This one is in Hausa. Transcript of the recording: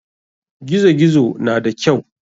Gizo gizo na da kyau.